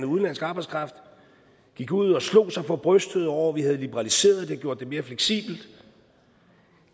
udenlandsk arbejdskraft de gik ud og slog sig for brystet over at vi havde liberaliseret det gjort det mere fleksibelt